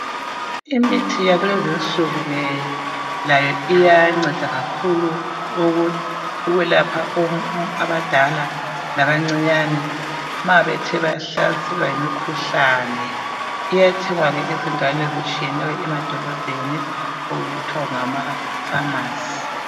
Imithi yakulezinsuku ke layo iyanceda kakhulu ukwelapha abadala labancinyane ma bethe bahlaselwa yimkhuhlane. Iyathengwa ke ezindaweni ezitshiyeneyo edolobheni okuthiwa ngama (Pharmacy).